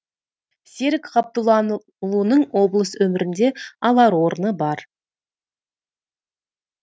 серік ғабдұллаұлының облыс өмірінде алар орны бар